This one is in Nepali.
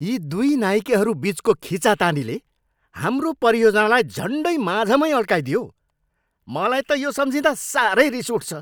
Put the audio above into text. यी दुई नाइकेहरू बिचको खिचातानीले हाम्रो परियोजनालाई झन्डै माझमै अड्काइदियो। मलाई त यो सम्झिँदा साह्रै रिस उठ्छ।